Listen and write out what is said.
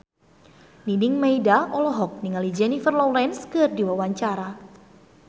Nining Meida olohok ningali Jennifer Lawrence keur diwawancara